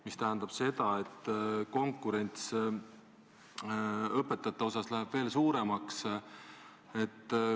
Mis tähendab seda, et konkurents õpetajate saamiseks läheb veel suuremaks.